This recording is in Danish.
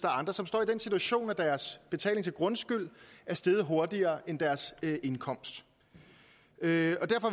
og andre som står i den situation at deres betaling til grundskyld er steget hurtigere end deres indkomst derfor